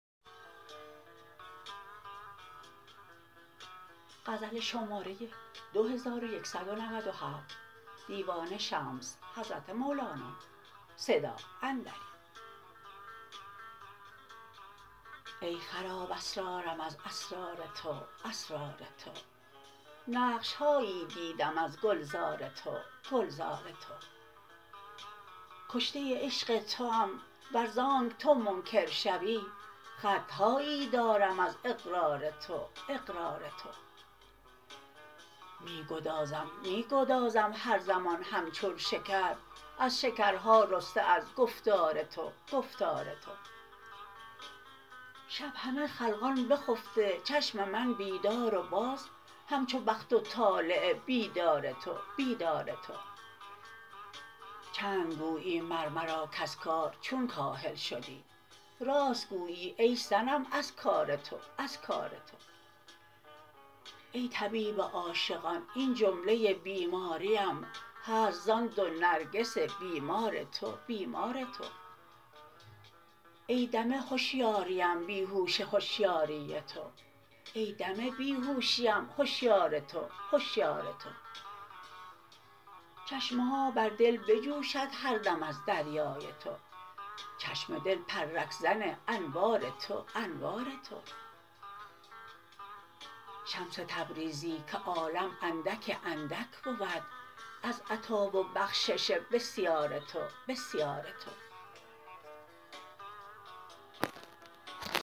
ای خراب اسرارم از اسرار تو اسرار تو نقش هایی دیدم از گلزار تو گلزار تو کشته عشق توام ور ز آنک تو منکر شوی خط هایی دارم از اقرار تو اقرار تو می گدازم می گدازم هر زمان همچون شکر از شکرها رسته از گفتار تو گفتار تو شب همه خلقان بخفته چشم من بیدار و باز همچو بخت و طالع بیدار تو بیدار تو چند گویی مر مرا کز کار چون کاهل شدی راست گویی ای صنم از کار تو از کار تو ای طبیب عاشقان این جمله بیماریم هست زان دو نرگس بیمار تو بیمار تو ای دم هشیاریم بی هوش هشیاری تو ای دم بی هوشیم هشیار تو هشیار تو چشمه ها بر دل بجوشد هر دم از دریای تو چشم دل پرک زن انوار تو انوار تو شمس تبریزی که عالم اندک اندک بود از عطا و بخشش بسیار تو بسیار تو